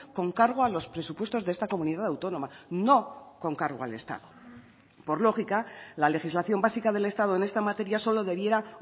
con cargo a los presupuestos de esta comunidad autónoma no con cargo al estado por lógica la legislación básica del estado en esta materia solo debiera